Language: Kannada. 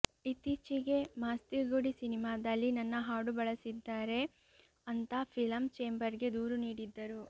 ಇತ್ತೀಚೆಗೆ ಮಾಸ್ತಿಗುಡಿ ಸಿನಿಮಾದಲ್ಲಿ ನನ್ನ ಹಾಡು ಬಳಸಿದ್ದಾರೆ ಅಂತಾ ಫಿಲಂ ಚೇಂಬರ್ ಗೆ ದೂರು ನೀಡಿದ್ದರು